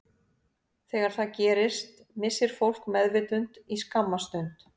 Þegar það gerist missir fólk meðvitund í skamma stund.